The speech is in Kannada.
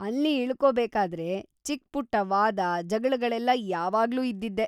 ಅಲ್ಲಿ ಇಳ್ಕೋಬೇಕಾದ್ರೆ ಚಿಕ್ಪುಟ್ಟ ವಾದ, ಜಗ್ಳಗಳೆಲ್ಲ ಯಾವಾಗ್ಲೂ ಇದ್ದಿದ್ದೇ.